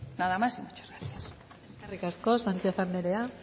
nada más y muchas gracias eskerrik asko sánchez anderea